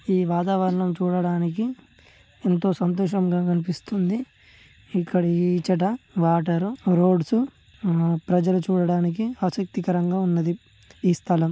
ఈ వాతావరణం చూడటానికి ఎంతో సంతోషంగా కనిపిస్తుంది ఇక్కడ ఇచ్చట వాటర్ ఉ రోడ్స్ ఉ ఊ ప్రజలు చూడటానికి ఆసక్తికరంగా ఉన్నది.